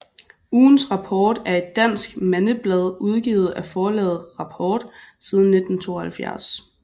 Ugens Rapport er et dansk mandeblad udgivet af Forlaget Rapport siden 1972